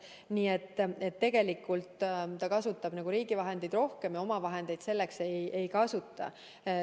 Nii et tegelikult kasutab ta selleks riigi vahendeid rohkem ja oma vahendeid vähem.